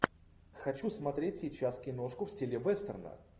хочу смотреть сейчас киношку в стиле вестерна